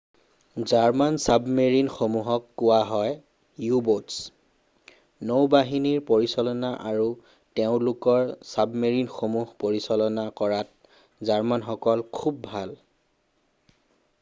German চাবমেৰিণসমূহক কোৱা হয় ইউ-ব'টছ নৌবাহিনীৰ পৰিচালনা আৰু তেওঁলোকৰ চাবমেৰিনসমূহ পৰিচালনা কৰাত জাৰ্মানসকল খুব ভাল